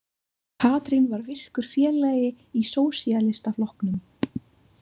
Katrín var virkur félagi í Sósíalistaflokknum.